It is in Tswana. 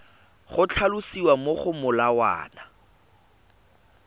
go tlhalosiwa mo go molawana